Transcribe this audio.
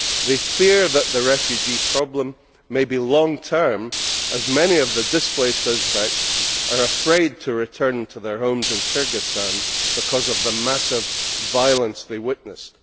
They fear that the refugee problem may be long term, as many of the displaced Uzbeks are afraid to return to their homes in Kyrgyzstan because of the massive violence they witnessed.